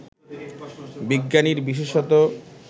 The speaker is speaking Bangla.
বিজ্ঞানীর বিশেষত